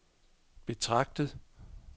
betragtet